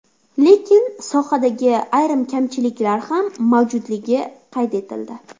Lekin sohadagi ayrim kamchiliklar ham mavjudligi qayd etildi.